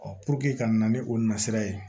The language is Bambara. ka na ni o nasira ye